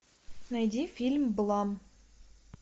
найди фильм блам